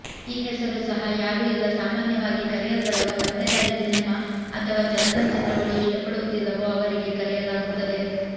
ಈ ಹೆಸರು ಸಹ ಯಾರು ಇಲ್ಲ ಸಾಮಾನ್ಯವಾಗಿ ಕರೆಯಲ್ಪಡುವ ಪತ್ತೇದಾರಿ ಸಿನೆಮಾ ಅಥವಾ ಚಲನಚಿತ್ರಗಳು ಇಷ್ಟಪಡುವುದಿಲ್ಲವೋ ಅವರಿಗೆ ಕರೆಯಲಾಗುತ್ತದೆ